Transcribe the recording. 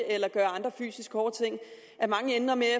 eller gøre andre fysisk hårde ting ender med